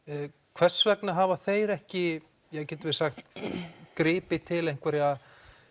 hvers vegna hafa þeir ekki gripið til einhverra